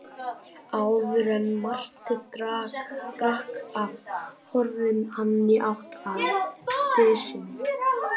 Áður en Marteinn drakk af horfði hann í átt að dysinni.